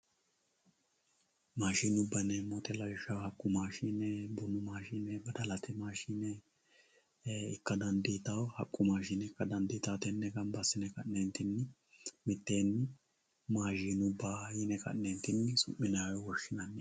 Maashinuba yineemo woyite lawishaho bunu maashine, badalte maashine ikka danifitawo haqu maashine ikka dandiyitawo tene gamba asine ka'neentinni mitteenni maashinuba yine ka'neentinni suminayi woyi woshinay